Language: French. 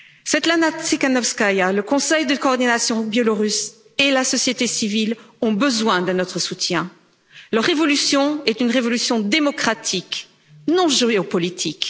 Svetlana Tsikanovskaya, le conseil de coordination biélorusse et la société civile ont besoin de notre soutien. Leur révolution est une révolution démocratique, non géopolitique.